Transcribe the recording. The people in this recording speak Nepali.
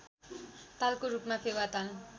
तालको रूपमा फेवाताल